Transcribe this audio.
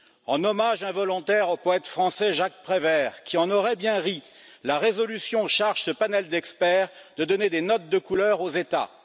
En hommage involontaire au poète français, Jacques Prévert, qui en aurait bien ri, la résolution charge ce panel d'experts de donner des notes de couleur aux États.